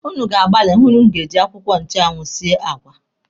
Ụnụ ga-agbali hụ na ụnụ ga-eji akwụkwọ nchụanwụ esi àgwà.